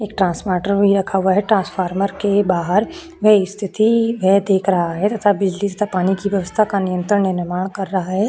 एक ट्रांसवाटर भी रखा हुआ है ट्रांसफार्मर के बाहर में एक स्थिति वह देख रहा है तथा बिजली तथा पानी की व्यवस्था का नियंत्रण निर्माण कर रहा है।